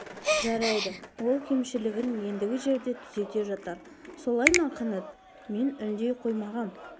жарайды ол кемшілігін ендігі жерде түзете жатар солай ма қанат мен үндей қоймағам